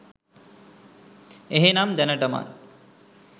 එහෙමනම් දැනටමත්